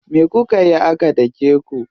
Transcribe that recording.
Me kukayi aka dake ku?